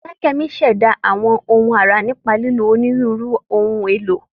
Folakemi ń ṣẹ̀dá àwọn ohun ara nípa lílo onírúurú ohun èlò.